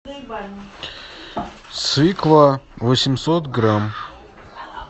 свекла восемьсот грамм